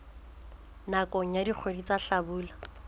nakong ya dikgwedi tsa hlabula